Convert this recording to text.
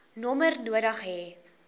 nommer nodig hê